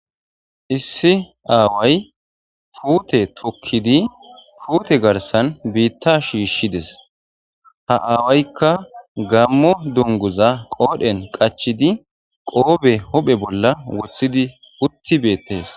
issi aaway puute tokkidi puute garsan biitta shiishshides ha aawaykka gammo dunguza qoodhen qachidi qoobe hophe bolla wothidi utti beettes